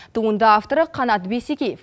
туынды авторы қанат бейсекеев